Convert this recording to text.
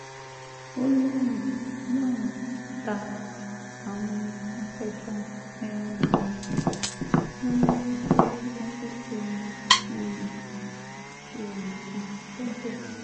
ó lóun lóun ta àwọn apẹja um lólobó pé wọ́n ti um ju èèyàn kan sódò